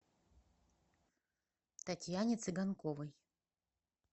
татьяне цыганковой